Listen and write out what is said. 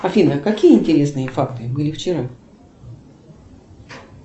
афина какие интересные факты были вчера